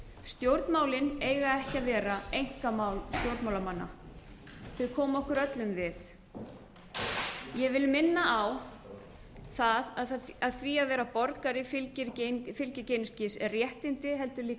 stjórnmálin eiga ekki að vera einkamál stjórnmálamanna þau koma okkur öllum við ég vil minna á það að því að vera borgari fylgja ekki einungis réttindi heldur líka skyldur það